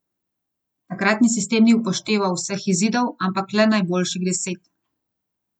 Takratni sistem ni upošteval vseh izidov, ampak le najboljših deset.